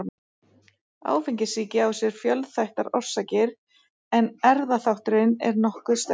Áfengissýki á sér fjölþættar orsakir en erfðaþátturinn er nokkuð sterkur.